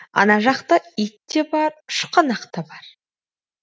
ана жақта ит те бар шұқанақ та бар